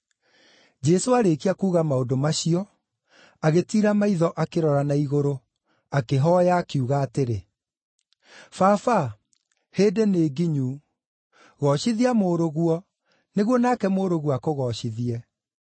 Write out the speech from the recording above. Jesũ aarĩkia kuuga maũndũ macio, agĩtiira maitho akĩrora na igũrũ, akĩhooya, akiuga atĩrĩ: “Baba hĩndĩ nĩ nginyu. Goocithia Mũrũguo, nĩguo nake Mũrũguo akũgoocithie.